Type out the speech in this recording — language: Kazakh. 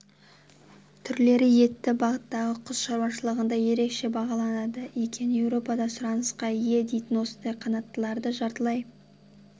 түрлері етті бағыттағы құс шаруашылығында ерекше бағаланады екен еуропада сұранысқа ие дейтін осындай қанаттылардың жартылай